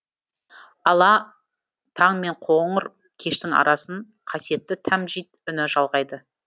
ала таң мен қоңыр кештің арасын қасиетті тәмжид үні жалғайды